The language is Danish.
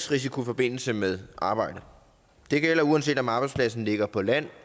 risiko i forbindelse med arbejdet det gælder uanset om arbejdspladsen ligger på land